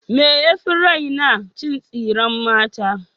Me yafi raina? Cin tsiren mata.